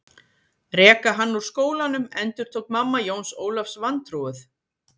Reka hann úr skólanum endurtók mamma Jóns Ólafs vantrúuð.